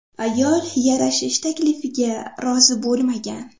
Ayol yarashish taklifiga rozi bo‘lmagan.